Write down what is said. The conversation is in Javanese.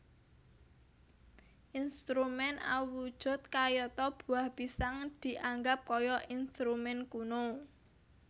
Instrumen awujud kayata buah pisang dianggap kaya instrumen kuno